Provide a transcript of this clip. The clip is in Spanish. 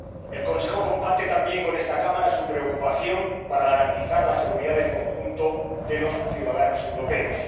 El Consejo comparte también con esta Cámara su preocupación por garantizar la seguridad del conjunto de los ciudadanos europeos